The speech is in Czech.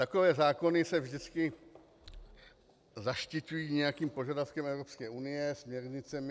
Takové zákony se vždycky zaštiťují nějakým požadavkem Evropské unie, směrnicemi.